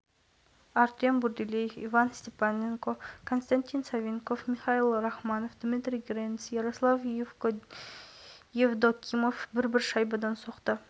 кездесудің келесі бөлігінде аспанасты елінің қақпасына алты шайба соғылды артем бурделев пен алихан асетов дубль иесі атанса антон сагадеев пен михаил